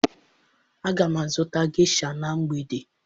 Aga m azụta gesha na mgbede